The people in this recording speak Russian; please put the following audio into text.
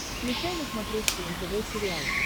включай на смотрешке нтв сериал